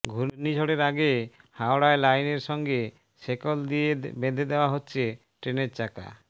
ঘূর্ণিঝড়ের আগে হাওড়ায় লাইনের সঙ্গে শেকল দিয়ে বেঁধে দেওয়া হচ্ছে ট্রেনের চাকা